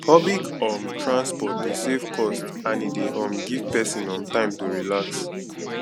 pubic um transport de save cost and e de um give persin um time to relax